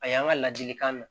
A y'an ka ladilikan mɛn